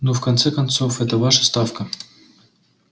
ну в конце концов эта ваша ставка